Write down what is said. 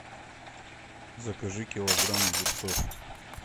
закажи килограмм огурцов